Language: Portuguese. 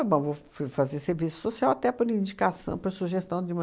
ah, bom, vou fui fazer serviço social até por indicação, por sugestão de uma